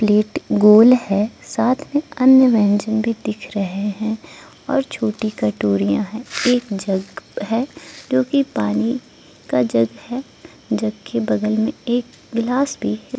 Plate गोल है साथ में अन्य व्यंजन भी दिख रहे हैं और छोटी कटोरियां है एक जग है जो कि पानी का जग है जग के बगल में एक गिलास भी है।